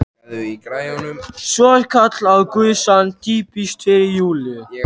Svo skall á gusan: Týpiskt fyrir Júlíu!